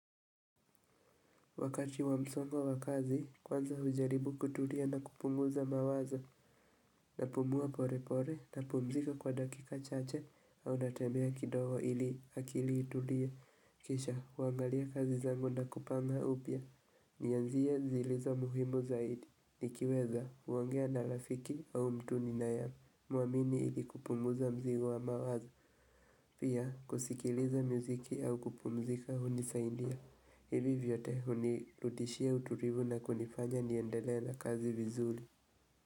Wakati wamsongo wakazi, kwanza hujaribu kutulia na kupunguza mawazo, na pumua pole pole na pumzika kwa dakika chache au natembea kidogo ili akili itulie. Kisha, kuangalia kazi zangu na kupanga upya. Nianzie zilizo muhimu zaidi, nikiweza huongea na lafiki au mtu ninaye muamini ili kupunguza mzigo wa mawazo, pia kusikiliza miziki au kupumzika hunisaidia. Hivi vyote hunirudishia utulivu na kunifanya niendelee la kazi vizuri.